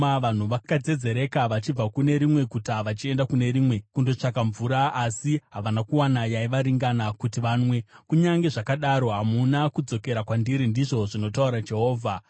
Vanhu vakadzedzereka vachibva kune rimwe guta vachienda kune rimwe kundotsvaka mvura, asi havana kuwana yaivaringana kuti vanwe, kunyange zvakadaro hamuna kudzokera kwandiri,” ndizvo zvinotaura Jehovha.